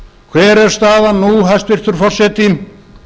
hver er staðan nú hæstvirtur forseti